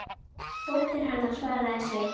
Dóttir hennar, svaraði Sveinn.